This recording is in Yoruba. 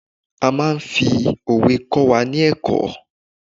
a ma n fi òwe kọ wà ní ẹkọ